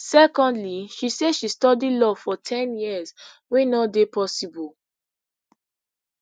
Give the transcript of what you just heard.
secondly she say she study law for ten years wey no dey possible